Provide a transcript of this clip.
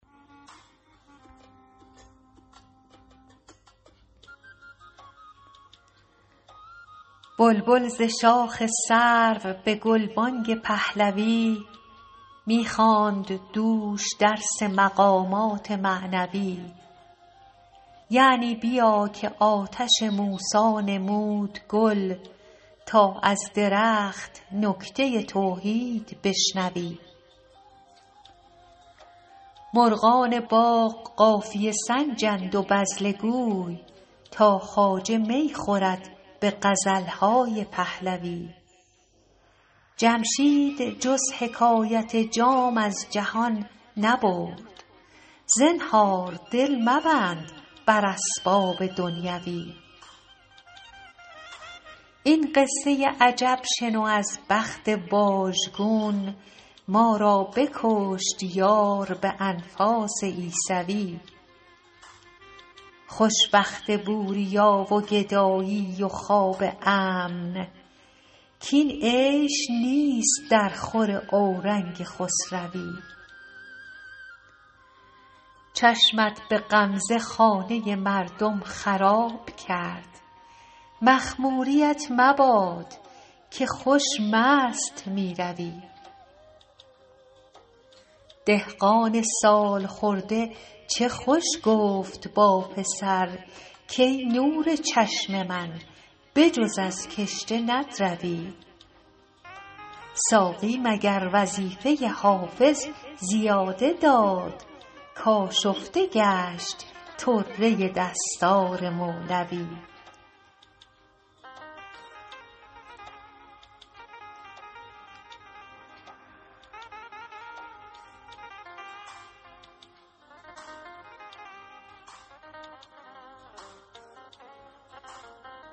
بلبل ز شاخ سرو به گلبانگ پهلوی می خواند دوش درس مقامات معنوی یعنی بیا که آتش موسی نمود گل تا از درخت نکته توحید بشنوی مرغان باغ قافیه سنجند و بذله گوی تا خواجه می خورد به غزل های پهلوی جمشید جز حکایت جام از جهان نبرد زنهار دل مبند بر اسباب دنیوی این قصه عجب شنو از بخت واژگون ما را بکشت یار به انفاس عیسوی خوش وقت بوریا و گدایی و خواب امن کاین عیش نیست درخور اورنگ خسروی چشمت به غمزه خانه مردم خراب کرد مخموریـت مباد که خوش مست می روی دهقان سال خورده چه خوش گفت با پسر کای نور چشم من به جز از کشته ندروی ساقی مگر وظیفه حافظ زیاده داد کآشفته گشت طره دستار مولوی